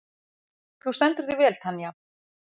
Þú stendur þig vel, Tanja!